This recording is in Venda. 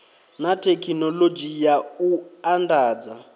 na thekhinoḽodzhi ya u andadza